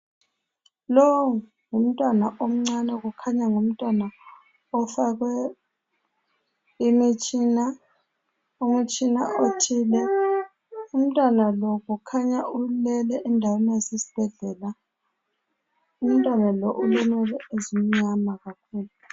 Lowu ngumntwana omncane kukhanya ngumntwana ofakwe imitshina -umtshina othile. Umntwana lo kukhanya ulele endaweni esesibhedlela , umntwana lo ule nwele ezimnyama kakhulu.